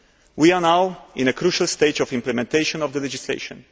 We are now at a crucial stage of implementation of the legislation.